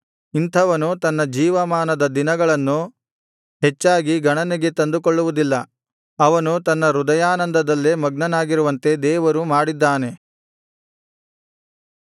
ಇಂಥವನು ತನ್ನ ಜೀವಮಾನದ ದಿನಗಳನ್ನು ಹೆಚ್ಚಾಗಿ ಗಣನೆಗೆ ತಂದುಕೊಳ್ಳುವುದಿಲ್ಲ ಅವನು ತನ್ನ ಹೃದಯಾನಂದದಲ್ಲೇ ಮಗ್ನನಾಗಿರುವಂತೆ ದೇವರು ಮಾಡಿದ್ದಾನೆ